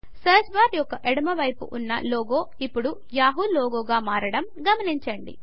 search bar యొక్క ఎడమ వైపు ఉన్న లోగో ఇప్పుడు యాహూ లోగోగా మారడం గమనించండి